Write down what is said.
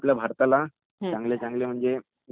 चांगली म्हणजे ते प्रदर्शन करत आहेत आता